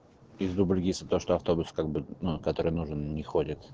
из дубльгиса то что автобус как бы ну который нужен не ходит